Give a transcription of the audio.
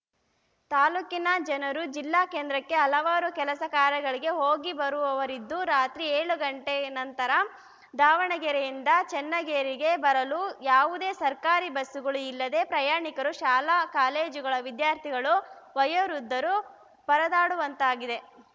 ತಾಲೂಕಿನ ಜನರು ಜಿಲ್ಲಾ ಕೇಂದ್ರಕ್ಕೆ ಹಲವಾರು ಕೆಲಸಕಾರ್ಯಗಳಿಗೆ ಹೋಗಿ ಬರುವವರಿದ್ದು ರಾತ್ರಿ ಏಳು ಗಂಟೆ ನಂತರ ದಾವಣಗೆರೆಯಿಂದ ಚನ್ನಗಿರಿಗೆ ಬರಲು ಯಾವುದೇ ಸರ್ಕಾರಿ ಬಸ್‌ಗಳು ಇಲ್ಲದೆ ಪ್ರಯಾಣಿಕರು ಶಾಲಾಕಾಲೇಜುಗಳ ವಿದ್ಯಾರ್ಥಿಗಳು ವಯೋವೃದ್ದರು ಪರದಾಡುವಂತಾಗಿದೆ